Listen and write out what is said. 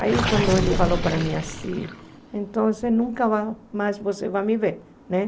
Aí quando ele falou para mim assim, então você nunca mais você vai me ver, né?